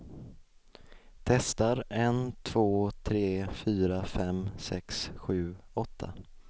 Testar en två tre fyra fem sex sju åtta.